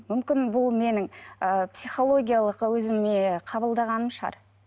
мүмкін бұл менің ы психологиялық өзіме қабылдағаным шығар